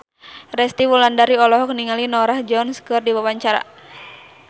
Resty Wulandari olohok ningali Norah Jones keur diwawancara